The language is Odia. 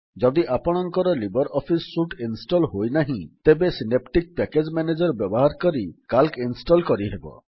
ଯଦି ଆପଣଙ୍କର ଲିବର୍ ଅଫିସ୍ ସୁଟ୍ ଇନଷ୍ଟଲ୍ ହୋଇନାହିଁ ତେବେ ସିନେପ୍ଟିକ୍ ପ୍ୟାକେଜ୍ ମ୍ୟାନେଜର୍ ବ୍ୟବହାର କରି ସିଏଏଲସି ଇନଷ୍ଟଲ୍ କରିହେବ